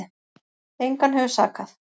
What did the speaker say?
Engan hefur sakað